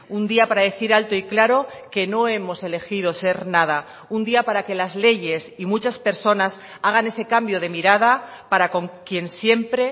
un día para decir alto y claro que no hemos elegido ser nada un día para que las leyes y muchas personas hagan ese cambio de mirada para con quien siempre